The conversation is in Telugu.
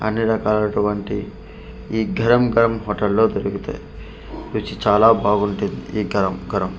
అన్ని రకాలటువంటి ఈ గరం గరం హోటల్లో దొరుకుతాయి రుచి చాలా బాగుంటుంది ఈ గరం గరం--